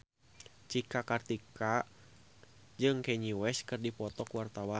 Cika Kartika jeung Kanye West keur dipoto ku wartawan